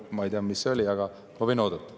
Ma ei tea, mis see oli, aga ma võin oodata.